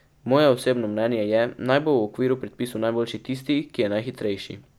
Moje osebno mnenje je, naj bo v okviru predpisov najboljši tisti, ki je najhitrejši.